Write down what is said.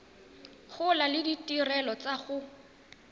gola le ditirelo tsa go